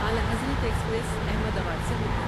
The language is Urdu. اعلیٰ حضرت ایکسپریس احمد آباد سے ہو کر